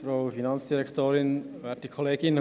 Das ist die Basis dieser Motion.